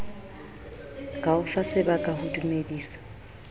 ka o fasebaka ho dumedisa